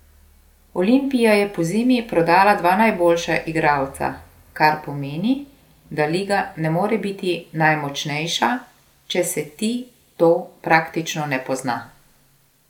Olimpija je pozimi prodala dva najboljša igralca, kar pomeni, da liga ne more biti najmočnejša, če se ti to praktično ne pozna.